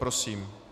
Prosím.